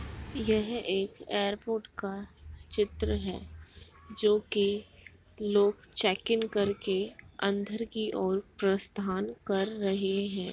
यह एक एयरपोर्ट का चित्र है जो की लोग चेकिंग करके अंदर की ओर प्रस्थान कर रहे हैं।